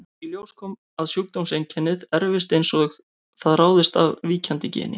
Í ljós kom að sjúkdómseinkennið erfist eins og það ráðist af víkjandi geni.